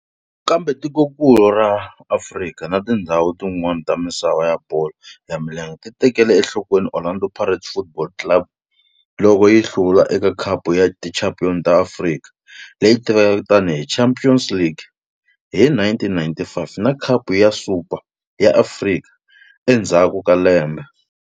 Kambe tikonkulu ra Afrika na tindzhawu tin'wana ta misava ya bolo ya milenge ti tekele enhlokweni Orlando Pirates Football Club loko yi hlula eka Khapu ya Tichampion ta Afrika, leyi tivekaka tani hi Champions League, hi 1995 na Khapu ya Super ya Afrika endzhaku ka lembe.